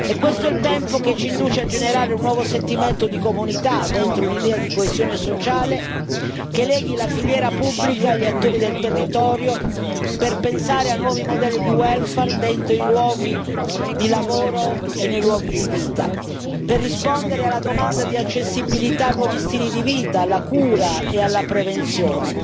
È questo il tempo che ci induce a generare un nuovo sentimento di comunità dentro un'idea di coesione sociale che leghi la filiera pubblica agli attori del territorio, per pensare a nuovi modelli di welfare dentro i luoghi di lavoro e nei luoghi di vita, per rispondere alla domanda di accessibilità a nuovi stili di vita, alla cura e alla prevenzione,